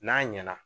N'a ɲɛna